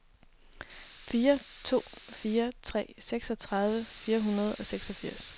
fire to fire tre seksogtredive fire hundrede og seksogfirs